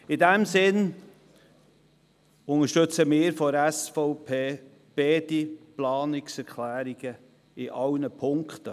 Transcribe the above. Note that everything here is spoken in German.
In diesem Sinn unterstützt die SVP beide Planungserklärungen und zwar in sämtlichen Punkten.